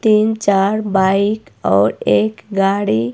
तीन चार बाइक और एक गाड़ी--